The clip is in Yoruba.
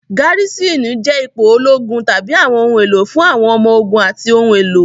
Garisini jẹ́ ipò ológun tàbí àwọn ohun èlò fún àwọn ọmọ ogun àti ohun èlò.